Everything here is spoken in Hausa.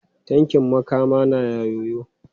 Tankin Makama naa yoyo.